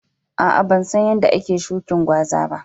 Aa, ban san yadda ake shukin gwaza ba.